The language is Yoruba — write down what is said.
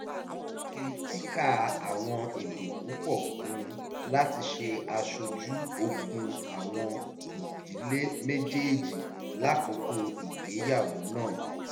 wọ́n fi kikà àwọn èdè púpọ̀ kun láti ṣe aṣojú ogún àwọn ìjdíle méjèèjì lákòókò ìgbéyàwó náà